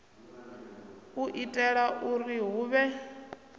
u itela uri hu vhe